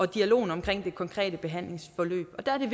dialogen om det konkrete behandlingsforløb og der er det